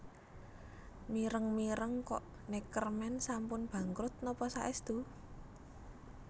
Mireng mireng kok Neckermann sampun bangkrut nopo saestu?